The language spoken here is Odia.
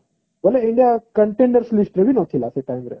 ବୋଲେ ଏଇଟା contender list ରେ ବି ନଥିଲା ସେ time ରେ